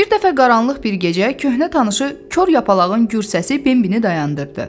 Bir dəfə qaranlıq bir gecə köhnə tanışı kor yapalağın gür səsi Bembini dayandırdı.